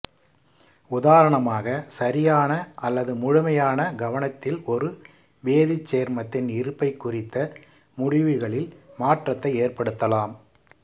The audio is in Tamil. உதாரணமாக சரியான அல்லது முழுமையான கவனித்தல் ஒரு வேதிச் சேர்மத்தின் இருப்பைப் குறித்த முடிவுகளில் மாற்றத்தை ஏற்படுத்தலாம்